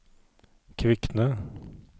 Kvikne